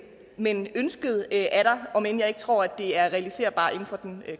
men ønsket er der om end jeg ikke tror at det er realiserbart inden for den